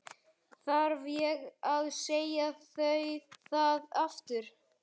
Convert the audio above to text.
Þarf ég að segja það aftur?